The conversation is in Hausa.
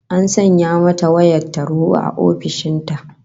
An sanya mata wayar tarho a ofishin ta